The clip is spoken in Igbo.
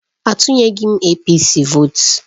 Atunyeghị m APC vootu